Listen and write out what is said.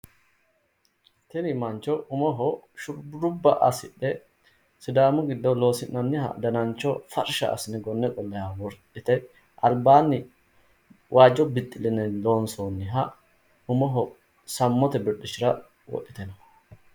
Tini mancho umoho shurrubba assidhe sidaamu giddo loosi'nanniha danancho farsha assine gonne qolle ka'ne wodhite albaanni waajjo bixxilenni loonsoonniha umoho sammote birxichira wodhite no.